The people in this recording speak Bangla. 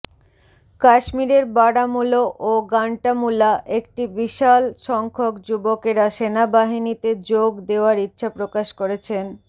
কাশ্মীরের বারামুলা ও গান্টামুলা একটি বিশাল সংখ্যক যুবকেরা সেনাবাহিনীতে যোগ দেওয়ার ইচ্ছাপ্রকাশ করেছেন